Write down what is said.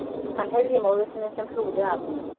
Hann heyrði í móður sinni sem hlúði að honum